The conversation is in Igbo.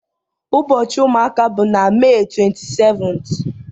Ụbọchị ụmụaka bụ na Mee 27th.